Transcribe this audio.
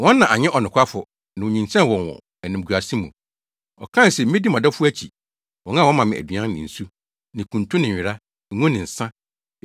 Wɔn na anyɛ ɔnokwafo na onyinsɛnee wɔn wɔ animguase mu. Ɔkae se, ‘Medi mʼadɔfo akyi, wɔn a wɔma me aduan ne nsu, ne kuntu ne nwera, ngo ne nsa.’